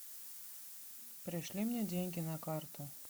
пришли мне деньги на карту